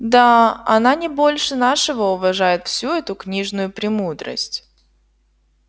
да она не больше нашего уважает всю эту книжную премудрость